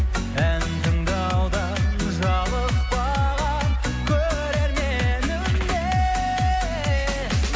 ән тыңдаудан жалықпаған көрерменіме